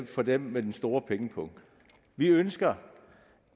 for dem med den store pengepung vi ønsker